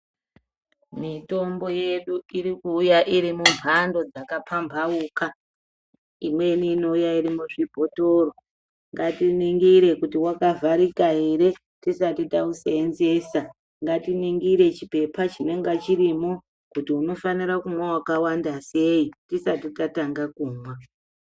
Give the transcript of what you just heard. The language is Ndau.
Mitombo yedu irikuuya irimumhando dzakapambauka, imweni iouya irimuzvibhotoro. Ngatiningire kuti wakavharika here tisati tauseenzesa . Ngatiningire chiphepha chinenge chirimo kuti unofanire kumwa wakawanda sei, tisati tatanga kumwa.